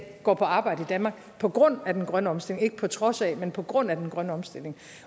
går på arbejde i danmark på grund af den grønne omstilling ikke på trods af men på grund af den grønne omstilling